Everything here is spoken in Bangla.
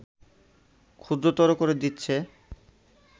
ক্ষুদ্রতর করে দিচ্ছে